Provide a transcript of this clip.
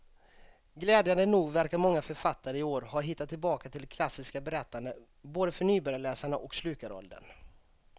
Glädjande nog verkar många författare i år ha hittat tillbaka till det klassiska berättandet, både för nybörjarläsarna och slukaråldern.